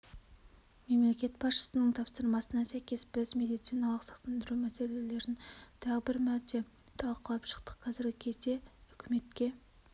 мемлекет басшысының тапсырмасына сәйкес біз медициналық сақтандыру мәселелерін тағы бір мәрте талқылап шықтық қазіргі кезде үкіметке